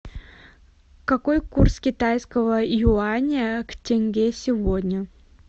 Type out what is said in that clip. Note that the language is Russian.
какой курс китайского юаня к тенге сегодня